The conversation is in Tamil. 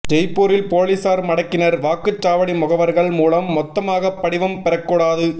ஜெய்ப்பூரில் போலீசார் மடக்கினர் வாக்குச்சாவடி முகவர்கள் மூலம் மொத்தமாக படிவம் பெறக்கூடாது